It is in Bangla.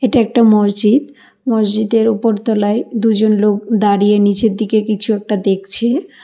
এটা একটা মসজিদ মসজিদের উপর তলায় দুজন লোক দাঁড়িয়ে নীচের দিকে কিছু একটা দেখছে।